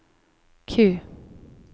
Q